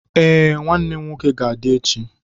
Ee, nwannem nwoke ga-adi echi.